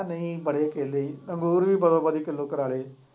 ਉਹ ਨਹੀਂ ਨਹੀਂ ਬੜੇ ਕੇਲੇ ਹੀ ਅੰਗੂਰ ਵੀ ਬਦੋ ਬਦੀ ਕਿਲੋ ਕਰਾ ਲਏ।